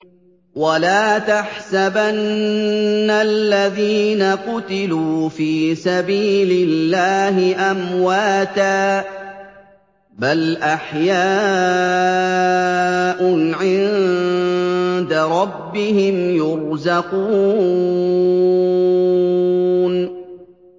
وَلَا تَحْسَبَنَّ الَّذِينَ قُتِلُوا فِي سَبِيلِ اللَّهِ أَمْوَاتًا ۚ بَلْ أَحْيَاءٌ عِندَ رَبِّهِمْ يُرْزَقُونَ